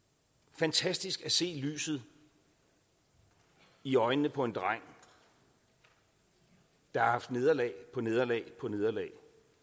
fantastisk at se lyset i øjnene på en dreng der har haft nederlag på nederlag på nederlag